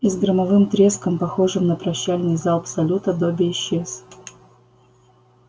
и с громовым треском похожим на прощальный залп салюта добби исчез